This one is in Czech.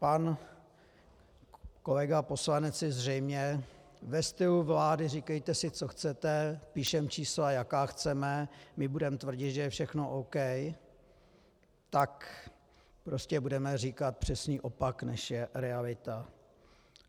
Pan kolega poslanec si zřejmě ve stylu vlády - říkejte si, co chcete, píšeme čísla, jaká chceme, my budeme tvrdit, že je všechno OK, tak prostě budeme říkat přesný opak, než je realita.